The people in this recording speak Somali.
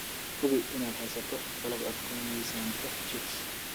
Hubi inaad haysato qalab aad ku miisaanto chicks.